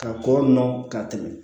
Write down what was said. Ka kɔrɔ nɔ ka tɛmɛ